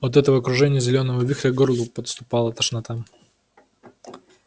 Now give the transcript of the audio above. от этого кружения зелёного вихря к горлу подступала тошнота